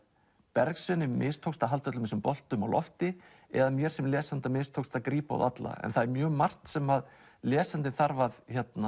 Bergsveini mistókst að halda öllum þessum boltum á lofti eða mér sem lesanda mistókst að grípa þá alla það er mjög margt sem lesandinn þarf að